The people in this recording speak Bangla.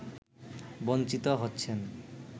বঞ্চিত হচ্ছেন